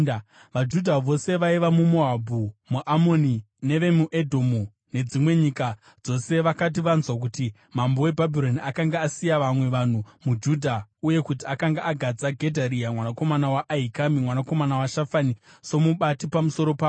VaJudha vose vaiva muMoabhu, muAmoni, nevemuEdhomu nedzimwe nyika dzose vakati vanzwa kuti mambo weBhabhironi akanga asiya vamwe vanhu muJudha uye kuti akanga agadza Gedharia mwanakomana waAhikami, mwanakomana waShafani, somubati pamusoro pavo,